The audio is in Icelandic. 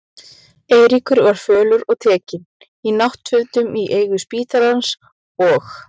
Eiríkur var fölur og tekinn, í náttfötum í eigu spítalans, og